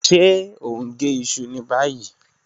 Ṣe o n ge iṣu ni bayi?